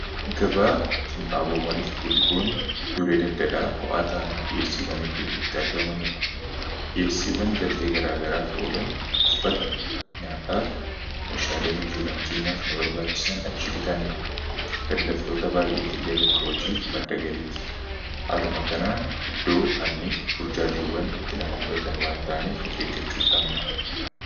Gabaa qinxaaboowwaniif butikoonni iddoolee daldalaa ho'aataaniif dhi'eessiiwwan hidduun itti argamaniidha dhi'eessiiwwan galtee garaa garaa f oolan uffata nyaataaf meeshaalee hojiiwwan keenyaaf nu barbaachisan achi bitanna daldaltoota baay'eef illee bakka hojiif maddagalii ti haaluma kanaan iddoo hanni fi burjaajiiwwan itti nama mudatan waan ta'aniif of eggachuu qabna.